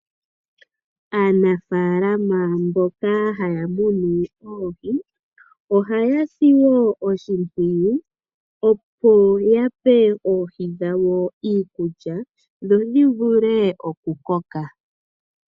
Aanafalama mboka haya munu oohi, oha ya si wo oshimpwiyu opo ya pe oohi dhawo iikulya dho dhivule oku koka.